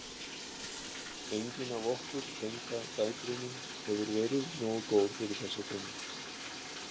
Engin af okkur tengdadætrunum hefur verið nógu góð fyrir þessa konu.